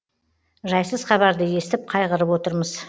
жайсыз хабарды естіп қайғырып отырмыз